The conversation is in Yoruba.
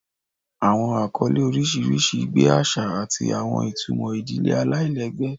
Awọn akọle oriṣiriṣi gbe aṣa ati awọn itumọ idile alailẹgbẹ.